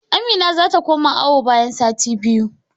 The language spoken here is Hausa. Amina zata koma awo bayan sati biyu